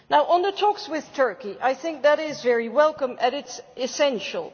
On the talks with Turkey, I think that is very welcome and it is essential.